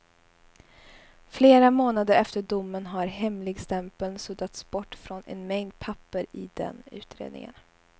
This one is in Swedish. Flera månader efter domen har hemligstämpeln suddats bort från en mängd papper i den utredningen.